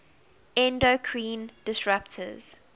endocrine disruptors